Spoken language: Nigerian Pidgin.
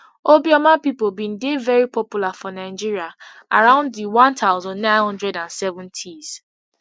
obioma pipo bin dey very popular for nigeria around di one thousand, nine hundred and seventys